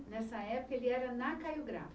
Nessa época, ele era na Caio Brato.